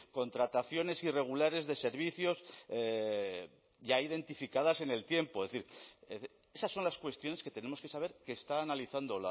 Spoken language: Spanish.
contrataciones irregulares de servicios ya identificadas en el tiempo es decir esas son las cuestiones que tenemos que saber que está analizando